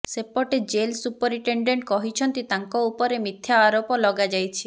ସେପଟେ jail superintendent କହିଛନ୍ତି ତାଙ୍କ ଉପରେ ମିଥ୍ୟା ଆରୋପ ଲଗାଯାଇଛି